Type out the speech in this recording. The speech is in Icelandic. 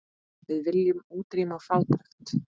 Við viljum útrýma fátækt.